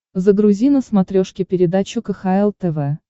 загрузи на смотрешке передачу кхл тв